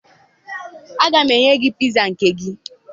Aga m enye gị piza nke gị